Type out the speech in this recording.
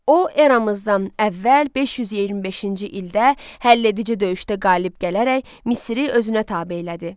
O, eramızdan əvvəl 525-ci ildə həlledici döyüşdə qalib gələrək Misri özünə tabe elədi.